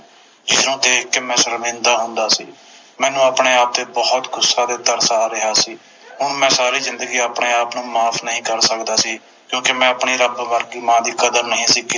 ਜਿਸਨੂੰ ਦੇਖ ਕੇ ਮੈਂ ਸ਼ਰਮਿੰਦਾ ਹੁੰਦਾ ਸੀ ਮੈਨੂੰ ਆਪਣੇ ਆਪ ਤੇ ਬੋਹਤ ਗੁੱਸਾ ਤੇ ਤਰਸ ਆ ਰਿਹਾ ਸੀ ਮੈਂ ਸਾਰੀ ਜਿੰਦਗੀ ਆਪਣੇ ਆਪ ਨੂੰ ਮਾਫ ਨਹੀਂ ਕਰ ਸਕਦਾ ਸੀ ਕਿਉਕਿ ਮੈਂ ਆਪਣੀ ਰੱਬ ਵਰਗੀ ਮਾਂ ਦੀ ਕਦਰ ਨਹੀਂ ਸੀ ਕੀਤੀ